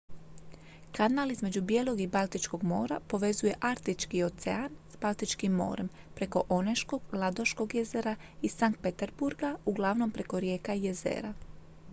kanal između bijelog i baltičkog mora povezuje arktički ocean s baltičkim morem preko oneškog ladoškog jezera i sankt peterburga uglavnom preko rijeka i jezera